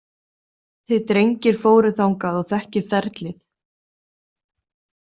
Þið drengir fóruð þangað og þekkið ferlið.